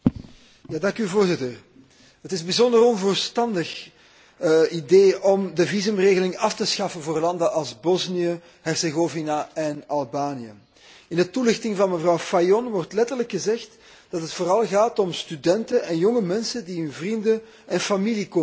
Voorzitter, het is een bijzonder onverstandig idee om de visumregeling af te schaffen voor landen als Bosnië Herzegovina en Albanië. In de toelichting van mevrouw Fajon wordt letterlijk gezegd dat het vooral gaat om studenten en jonge mensen die hun vrienden en familie komen bezoeken.